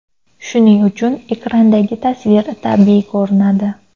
Shuning uchun ekrandagi tasvir tabiiy ko‘rinadi.